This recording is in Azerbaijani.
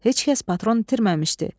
Heç kəs patron itirməmişdi.